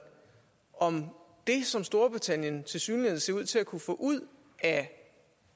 om det som storbritannien tilsyneladende ser ud til at kunne få ud af